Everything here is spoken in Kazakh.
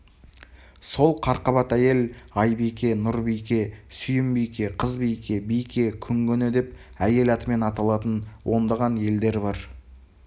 сол қарқабат әйел айбике нұрбике сүйімбике қызбике бике күңгөне деп әйел атымен аталатын ондаған елдер бар